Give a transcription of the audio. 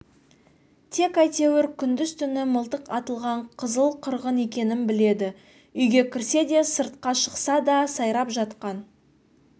тек әйтеуір күндіз-түні мылтық атылған қызыл-қырғын екенін біледі үйге кірсе де сыртқа шықса да сайрап жатқан